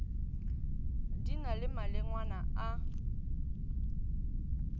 di na le malengwana a